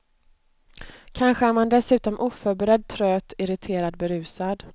Kanske är man dessutom oförberedd, tröt, irriterad, berusad.